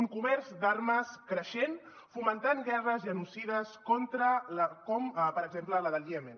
un comerç d’armes creixent fomentant guerres genocides com per exemple la del iemen